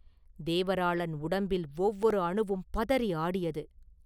தேவராளன் உடம்பில் ஒவ்வொரு அணுவும் பதறி ஆடியது.